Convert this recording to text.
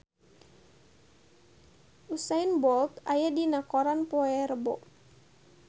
Usain Bolt aya dina koran poe Rebo